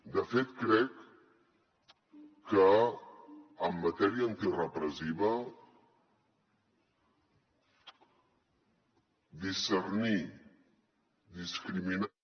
de fet crec que en matèria antirepressiva discernir discriminar